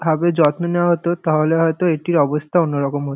আগে যত্ন নেওয়া হত তাহলে হয়তো এটির অবস্থা অন্যরকম হত।